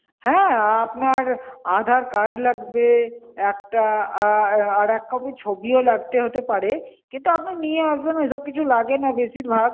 হ্যাঁ, আপনার aadhar card লাগবে একটা, আহ আর এক copy ছবিও লাগতে হতে পারে, কিন্তু আপনি নিয়ে আসবেন ওইসব কিছু লাগে না বেশিরভাগ।